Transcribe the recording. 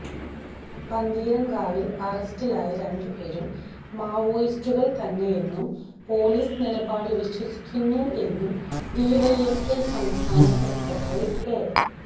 പന്തീരങ്കാവിൽ അറസ്റ്റിലായ രണ്ടുപേരും മാവോയിസ്റ്റുകൾ തന്നെയെന്നും പൊലീസ് നിലപാട് വിശ്വസിക്കുന്നു എന്നും ഡിവൈഎഫ്ഐ സംസ്ഥാന സെക്രട്ടറി എ